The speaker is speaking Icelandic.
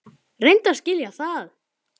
Reyndu að skilja það!